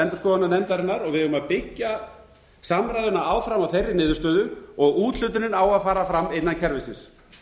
endurskoðunarnefndarinnar og við eigum að byggja samræðuna áfram á þeirri niðurstöðu og úthlutunin á að fara fram innan kerfisins